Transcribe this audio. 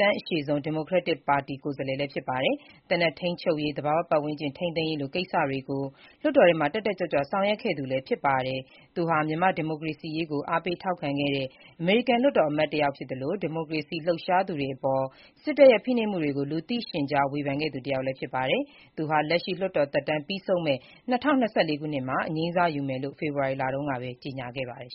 တမ်းအရှည်ဆုံး Democratic ပါတီ ကိုယ်စားလှယ်လည်းဖြစ်ပါတယ်။ သေနတ်ထိန်းချုပ်ရေး၊ သဘာဝပတ်ဝန်းကျင်ထိန်းသိမ်းရေးလို ကိစ္စတွေကို လွှတ်တော်ထဲမှာ တက်တက်ကြွကြွ ဆောင်ရွက်ခဲ့သူဖြစ်ပါတယ်။ သူဟာ မြန်မာ့ဒီမိုကရေစီရေးကို အားပေးထောက်ခံတဲ့ အမေရိကန် လွှတ်တော်အမတ်တယောက်ဖြစ်သလို ဒီမိုကရေစီရေးလှုပ်ရှားသူတွေအပေါ် စစ်တပ်ရဲ့ဖိနှိပ်မှုတွေကို လူသိရှင်ကြား ဝေဖန်ခဲ့သူတယောက်လည်း ဖြစ်ပါတယ်။ သူဟာ လက်ရှိလွှတ်တော်သက်တမ်းပြီးဆုံးမယ့် ၂၀၂၄ ခုနှစ်မှာ အငြိမ်းစားယူမယ်လို့ ဖေဖော်ဝါရီလတုန်းကပဲ ကြေညာခဲ့ပါတယ်